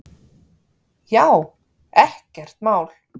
Já, ekkert mál!